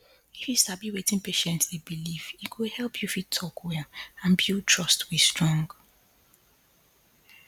if you sabi wetin patient dey believe e go help you fit talk well and build trust wey strong